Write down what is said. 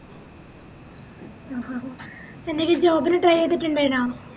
ആഹ് ആഹ് ആഹ് എന്തേങ്ങും job ന് try ചെയ്‌തിറ്റിണ്ടയ്‌നാ